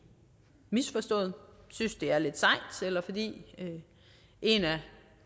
misforstået synes det er lidt sejt eller fordi en af